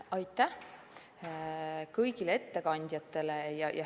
Aitäh kõigile ettekandjatele!